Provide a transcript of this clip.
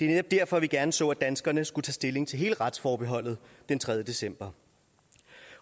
netop derfor at vi gerne så at danskerne skulle tage stilling til hele retsforbeholdet den tredje december